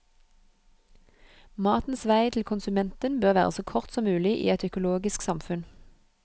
Matens vei til konsumenten bør være så kort som mulig i et økologisk samfunn.